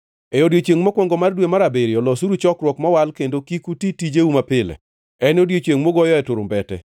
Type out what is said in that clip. “ ‘E odiechiengʼ mokwongo mar dwe mar abiriyo losuru chokruok mowal kendo kik uti tijeu mapile. En odiechiengʼ mugoyoe turumbete.